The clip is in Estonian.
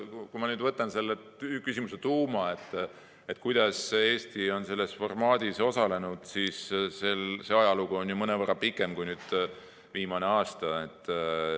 Kui ma vaatan selle küsimuse tuuma, kuidas Eesti on selles formaadis osalenud, siis see ajalugu on mõnevõrra pikem kui viimane aasta.